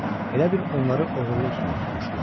Elə bil onları oğurluq üstündə tutmuşdular.